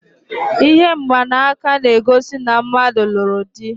Ihe mgbanaka na-egosi na mmadụ lụrụ dị.